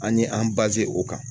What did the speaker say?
An ye an o kan